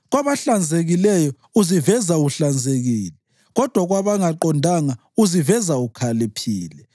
kwabahlanzekileyo uziveza uhlanzekile, kodwa kwabangaqondanga uziveza ukhaliphile.